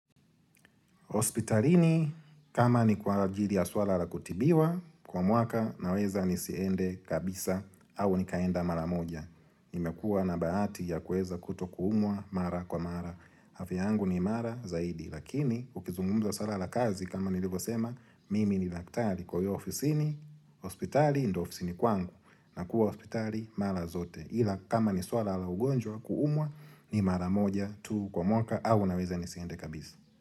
Hospitalini kama ni kwa ajili ya swala la kutibiwa kwa mwaka naweza nisiende kabisa au nikaenda mara moja. Nimekuwa na bahati ya kueza kuto kuumwa mara kwa mara. Afya yangu ni mara zaidi lakini ukizungumza swala la kazi kama nilivyosema mimi ni daktari kwa hiyo ofisini hospitali ndo ofisini kwangu na kuwa hospitali mara zote. Ila kama ni swala la ugonjwa kuumwa ni mara moja tu kwa mwaka au naweza nisiende kabisa.